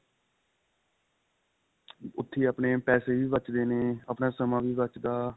ਉੱਥੇ ਹੀ ਆਪਣੇ ਪੈਸੇ ਵੀ ਬੱਚਦੇ ਨੇ ਆਪਣੇ ਸਮਾਂ ਵੀ ਬੱਚਦਾ